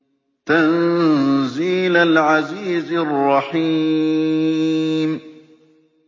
تَنزِيلَ الْعَزِيزِ الرَّحِيمِ